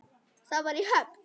Það var í Höfn.